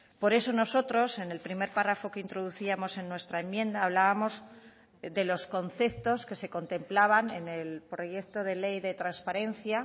por eso nosotros en el primer párrafo que introducíamos en nuestra enmienda hablábamos de los conceptos que se contemplaban en el proyecto de ley de transparencia